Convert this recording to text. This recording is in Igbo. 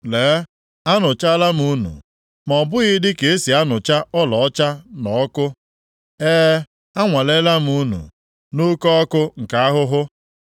Lee, anụchaalam unu, ma ọ bụghị dịka e si anụcha ọlaọcha nʼọkụ. E, anwaleela m unu nʼoke ọkụ nke ahụhụ.